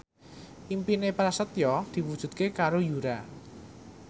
impine Prasetyo diwujudke karo Yura